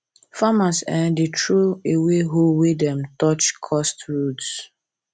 farmers um dey throw away hoe wey de, touch cursed roots